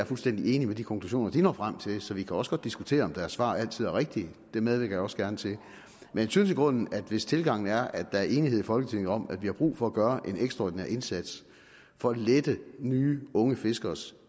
fuldstændig enig i de konklusioner de når frem til så vi kan også godt diskutere om deres svar altid er rigtige det medvirker jeg også gerne til jeg synes i grunden at hvis tilgangen er at der er enighed i folketinget om at vi har brug for at gøre en ekstraordinær indsats for at lette nye unge fiskeres